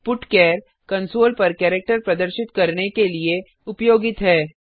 putchar console पर character प्रदर्शित करने के लिए उपयोगित है